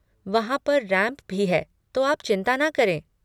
वहाँ पर रैम्प भी है, तो आप चिंता न करें।